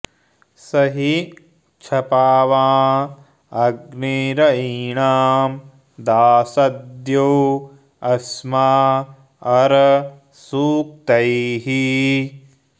स हि क्ष॒पावाँ॑ अ॒ग्नी र॑यी॒णां दाश॒द्यो अ॑स्मा॒ अरं॑ सू॒क्तैः